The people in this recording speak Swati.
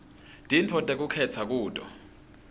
tintfo tekukhetsa kuto